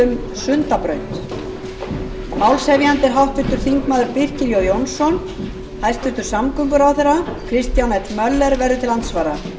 sundabraut málshefjandi er háttvirtur þingmaður birkir jón jónsson hæstvirtur samgönguráðherra kristján l möller verður til andsvara